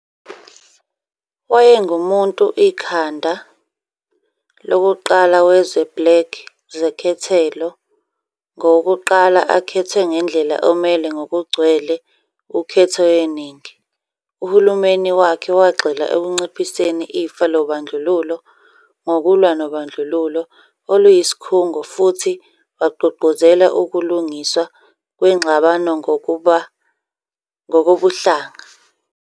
Wayengumuntu ikhanda lokuqala wezwe black zekhethelo ngowokuqala akhethwe ngendlela omele ngokugcwele ukhetho yeningi. Uhulumeni wakhe wagxila ekunciphiseni ifa lobandlululo ngokulwa nobandlululo oluyisikhungo futhi wagqugquzela ukulugiswa kwengxabanongokobuhlanga.